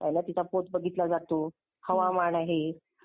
पहिले तिचा. पोत बघितला जातो. हवामान आहे